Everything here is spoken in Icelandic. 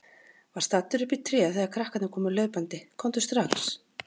Var staddur uppi í tré þegar krakkarnir komu hlaupandi: Komdu strax!